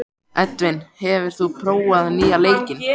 Edvin, hefur þú prófað nýja leikinn?